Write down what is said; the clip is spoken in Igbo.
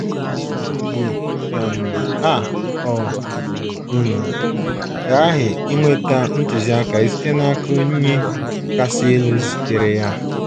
Ugbu um a ọ um ghaghị inweta ntụziaka site n’aka Onye Kasị Elu zitere ya.